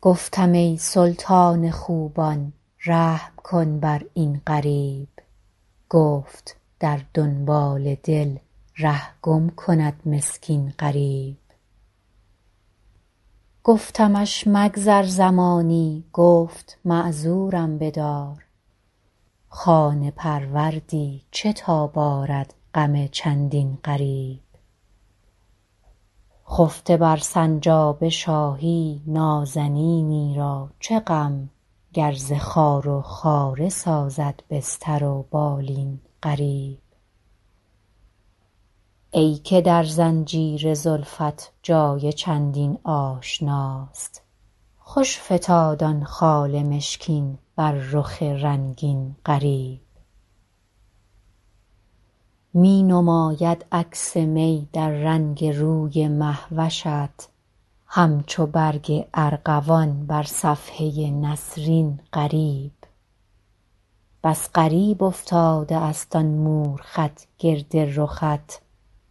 گفتم ای سلطان خوبان رحم کن بر این غریب گفت در دنبال دل ره گم کند مسکین غریب گفتمش مگذر زمانی گفت معذورم بدار خانه پروردی چه تاب آرد غم چندین غریب خفته بر سنجاب شاهی نازنینی را چه غم گر ز خار و خاره سازد بستر و بالین غریب ای که در زنجیر زلفت جای چندین آشناست خوش فتاد آن خال مشکین بر رخ رنگین غریب می نماید عکس می در رنگ روی مه وشت همچو برگ ارغوان بر صفحه نسرین غریب بس غریب افتاده است آن مور خط گرد رخت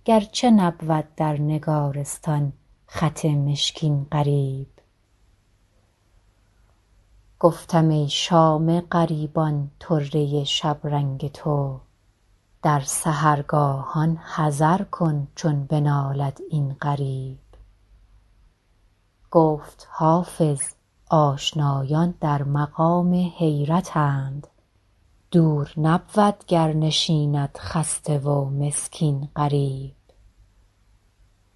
گرچه نبود در نگارستان خط مشکین غریب گفتم ای شام غریبان طره شبرنگ تو در سحرگاهان حذر کن چون بنالد این غریب گفت حافظ آشنایان در مقام حیرتند دور نبود گر نشیند خسته و مسکین غریب